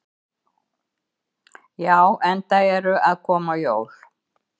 Já, enda eru að koma jól.